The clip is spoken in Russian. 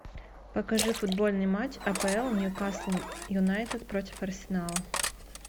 покажи футбольный матч апл ньюкасл юнайтед против арсенала